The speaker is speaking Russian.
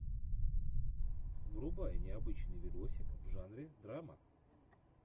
врубай необычный видосик в жанре драма